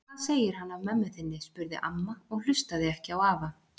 Hvað segir hann af mömmu þinni? spurði amma og hlustaði ekki á afa.